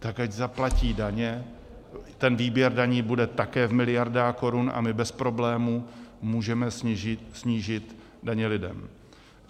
Tak ať zaplatí daně, ten výběr daní bude také v miliardách korun a my bez problému můžeme snížit daně lidem.